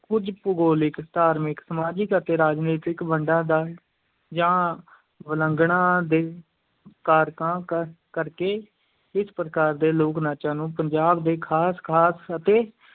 ਕੁਝ ਭੂਗੋਲਿਕ, ਧਾਰਮਿਕ, ਸਮਾਜਿਕ ਅਤੇ ਰਾਜਨੀਤਿਕ ਵੰਡਾਂ ਦਾ ਜਾਂ ਵਲਗਣਾਂ ਦੇ ਕਾਰਨਾਂ ਕ ਕਰਕੇ ਇਸ ਪ੍ਰਕਾਰ ਦੇ ਲੋਕ-ਨਾਚਾਂ ਨੂੰ ਪੰਜਾਬ ਦੇ ਖ਼ਾਸ-ਖ਼ਾਸ ਅਤੇ